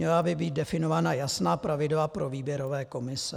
Měla by být definovaná jasná pravidla pro výběrové komise.